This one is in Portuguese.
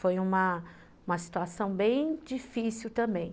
Foi uma uma situação bem difícil também.